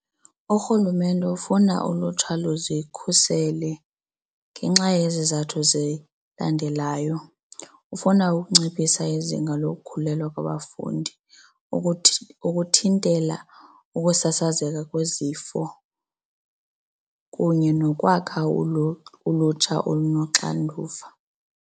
Urhulumente ufuna ulutsha luzikhusele ngenxa yezi zizathu zilandelayo, ufuna ukunciphisa izinga lokukhulelwa kwabafundi ukuthintela ukusasazeka kwezifo kunye nokwakha ulutsha olunoxanduva.